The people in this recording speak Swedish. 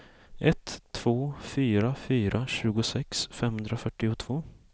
ett två fyra fyra tjugosex femhundrafyrtiotvå